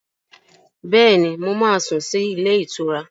Bẹ́ẹ̀ni, mo máa sùn sí ilé-ìtura.